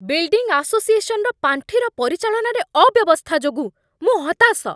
Building ଆସୋସିଏସନ୍‌ର ପାଣ୍ଠିର ପରିଚାଳନାରେ ଅବ୍ୟବସ୍ଥା ଯୋଗୁଁ ମୁଁ ହତାଶ।